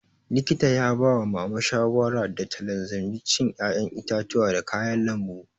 Likita ya ba wa mama shawara da ta lazimci cin ƴaƴen itatuwa da kayan lambu